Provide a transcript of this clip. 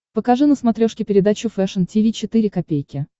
покажи на смотрешке передачу фэшн ти ви четыре ка